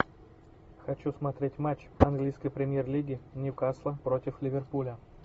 хочу смотреть матч английской премьер лиги ньюкасла против ливерпуля